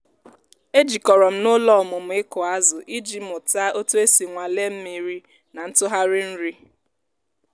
e jikọrọ m n'ụlọ ọmụmụ ịkụ azụ iji mụta otu esi nwalee mma mmiri na ntụgharị nri.